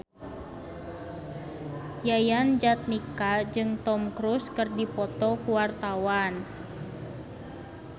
Yayan Jatnika jeung Tom Cruise keur dipoto ku wartawan